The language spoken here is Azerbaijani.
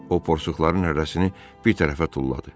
O porsuqların hərəsini bir tərəfə tulladı.